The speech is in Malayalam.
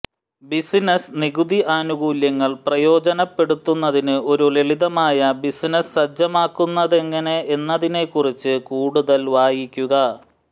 ബിസിനസ്സ് നികുതി ആനുകൂല്യങ്ങൾ പ്രയോജനപ്പെടുത്തുന്നതിന് ഒരു ലളിതമായ ബിസിനസ്സ് സജ്ജമാക്കുന്നതെങ്ങനെ എന്നതിനെക്കുറിച്ച് കൂടുതൽ വായിക്കുക